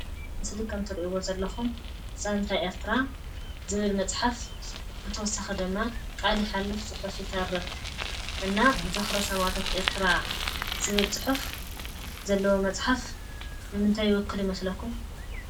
እዚ ምስሊ ከምእትርእዎ ዘለኹም ዛንታ ኤርትራ ዝብል መፅሓፍ ብተወሳኪ ድማ ቃል ይሓልፍ ፅሑፍ ይተርፍ እና ዝክሪ ሰማእታት ኤርትራ ዝብል ፅሑፍ ዘለዎ መፅሓፍ ንምንታይ ይውክል ይመስለኩም?